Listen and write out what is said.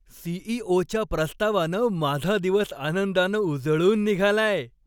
सी.ई.ओ.च्या प्रस्तावानं माझा दिवस आनंदानं उजळून निघालाय.